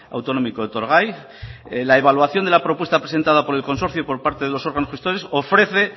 autonómico etorgai en la evaluación de la propuesta presentada por el consorcio y por parte de los órganos gestores ofrece